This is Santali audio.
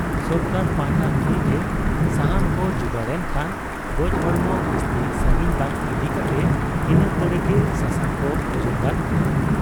ᱥᱚᱨᱠᱟᱨ ᱯᱟᱦᱴᱟ ᱠᱷᱚᱱ ᱜᱮ ᱥᱟᱦᱟᱱ ᱠᱚ ᱡᱩᱜᱟᱹᱲ ᱮᱱ ᱠᱷᱟᱱ ᱜᱚᱡ ᱦᱚᱲᱢᱚ ᱵᱤᱥᱛᱤ ᱥᱟᱺᱜᱤᱧ ᱵᱟᱝ ᱤᱫᱤ ᱠᱟᱛᱮ ᱤᱱᱟᱹ ᱠᱚᱨᱮᱜᱮ ᱥᱟᱥᱟᱝᱠᱚ ᱚᱡᱚᱜᱟᱫ ᱠᱚᱣᱟ ᱾